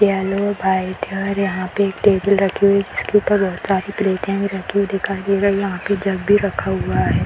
Yellow white है और यहाँ पे एक टेबुल रखी हुई जिसके ऊपर बहुत सारी प्लेट भी रखी हुई दिखाई दे रही है यहाँ पे जग भी रखा हुआ है।